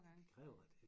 Det kræver da